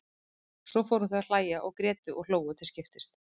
Svo fóru þau að hlæja og grétu og hlógu til skiptis.